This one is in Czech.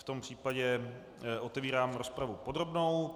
V tom případě otevírám rozpravu podrobnou.